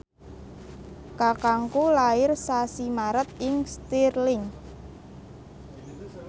kakangku lair sasi Maret ing Stirling